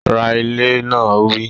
Ra ilẹ̀ náà! Ó wí